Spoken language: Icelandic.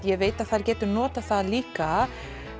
ég veit að þær geta notað það líka